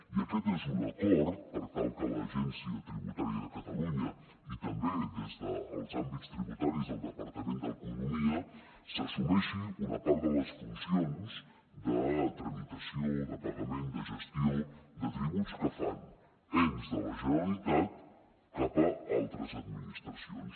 i aquest és un acord per tal que l’agència tributària de catalunya i també des dels àmbits tributaris del departament d’economia assumeixi una part de les funcions de tramitació de pagament de gestió de tributs que fan ens de la generalitat cap a altres administracions